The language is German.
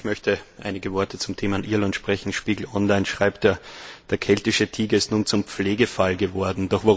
Auch ich möchte einige Worte zum Thema Irland sagen. Spiegel Online schreibt Der keltische Tiger ist nun zum Pflegefall geworden.